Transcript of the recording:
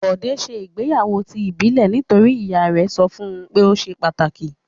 Bọ̀dé ṣe ìgbéyàwó ti ìbílẹ̀ nítorí ìyá rẹ̀ sọ fún pé ó ṣe pàtàkì.